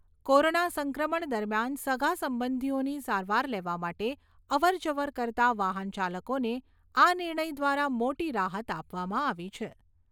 Corona સંક્રમણ દરમિયાન સગાસંબંધિઓની સારવાર લેવા માટે અવર જવર કરતા વાહન ચાલકોને આ નિર્ણય દ્વારા મોટી રાહત આપવામાં આવી છે.